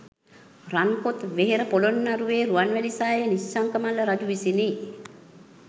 රන් කොත් වෙහෙර පොළොන්නරුවේ රුවන්මැලි සෑය නිශ්ශංක මල්ල රජු විසිනි.